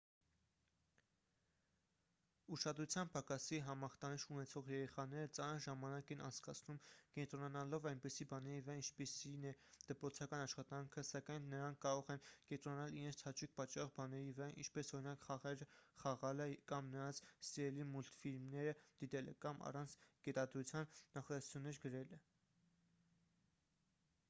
ուշադրության պակասի համախտանիշ ունեցող երեխաները ծանր ժամանակ են անցկացնում կենտրոնանալով այնպիսի բաների վրա ինչպիսին է դպրոցական աշխատանքը սակայն նրանք կարող են կենտրոնանալ իրենց հաճույք պատճառող բաների վրա ինչպես օրինակ խաղեր խաղալը կամ նրանց սիրելի մուլտֆիլմերը դիտելը կամ առանց կետադրության նախադասություններ գրելը